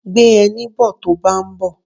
Gbé ẹní bo tó báa ń bọ̀.